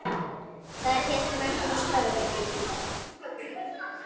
Þar hélt Magnús Torfi